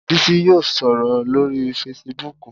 Bísí yóò sọ̀rọ̀ lórii fesibúùkù